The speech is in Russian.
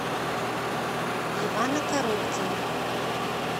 ивана коробкина